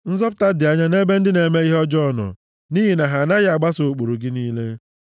Nzọpụta dị anya nʼebe ndị na-eme ihe ọjọọ nọ, nʼihi na ha anaghị agbaso ụkpụrụ gị niile.